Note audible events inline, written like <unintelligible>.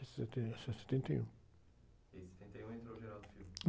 E sete... Até setenta e um. em setenta e um entrou o? <unintelligible>